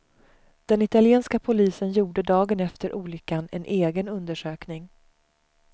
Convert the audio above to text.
Den italienska polisen gjorde dagen efter olyckan en egen undersökning.